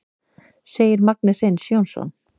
Segir Magni Hreinn Jónsson.